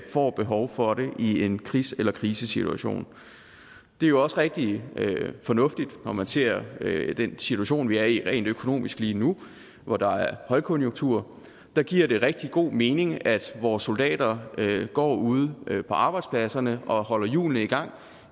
får behov for det i en krigs eller krisesituation det er jo også rigtig fornuftigt når man ser den situation vi er i rent økonomisk lige nu hvor der er højkonjunktur der giver det rigtig god mening at vores soldater går ude på arbejdspladserne og holder hjulene i gang